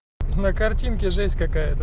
на картинке жесть какая-то